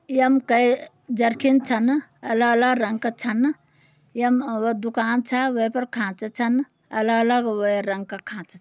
यम के जरकिन छ न अलग अलग रंग क छन। यम अ व दुकान छ वै पर खांचा छन अलग अलग वै रंग क खांचा।